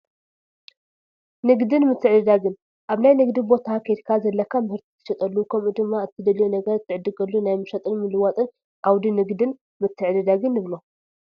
ንግድን ምትዕድዳግን፡- ኣብ ናይ ንግዲ ቦታ ከይድካ ዘለካ ምህርቲ ትሸጠሉ ከምኡ ድማ እትደልዮ ነገር ትዕድገሉ ናይ ምሻጥን ምልዋን ዓውዲ ንግድን ምትዕድዳግን ንብሎ፡፡